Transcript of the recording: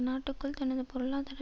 நாட்டுக்குள் தனது பொருளாதார